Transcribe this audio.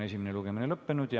Esimene lugemine on lõppenud.